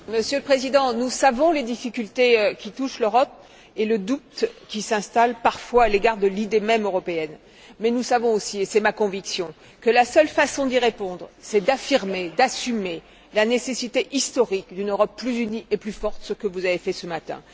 Monsieur le Président, nous savons les difficultés qui touchent l'Europe et le doute qui s'installe parfois à l'égard de l'idée européenne même, mais nous savons aussi, et c'est ma conviction, que la seule façon d'y répondre, c'est d'affirmer, d'assumer la nécessité historique d'une Europe plus unie et plus forte, ce que vous avez fait ce matin.